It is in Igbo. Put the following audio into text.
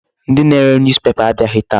Ndị na-ere newspaper abịaghị taa.